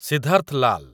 Siddharth Lal